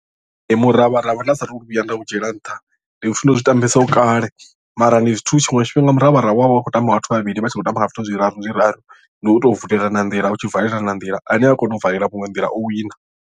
Ee miravharavha nda sa tu vhuya nda u dzhiela nṱha ndi zwithu ndo zwi tambesaho kale mara ndi zwithu tshiṅwe tshifhinga muravharavha wa vha u khou tambiwa nga vhathu vhavhili vha tshi khou tamba nga zwithu zwiraru zwiraru ndi u tou vulelana nḓila u tshi valelana nḓila ane a kona u valela muṅwe nḓila o wina.